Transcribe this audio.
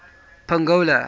pongola